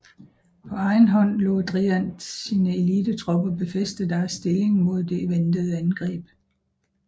På egen hånd lod Driant sine elitetropper befæste deres stilling mod det ventede angreb